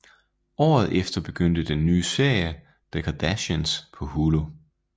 Året efter begyndte den nye serie The Kardashians på Hulu